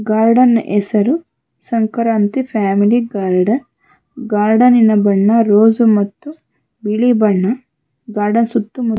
garden ಹೆಸರು Sankranti family garden ಗಾರ್ಡನಿನ ಬಣ್ಣ ರೋಸು ಮತ್ತು ಬಿಳಿ ಬಣ್ಣ ಗಾಡ ಸುತ್ತ ಮು--